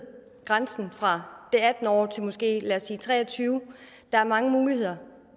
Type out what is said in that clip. grænsen fra atten år til måske lad os sige tre og tyve år der er mange muligheder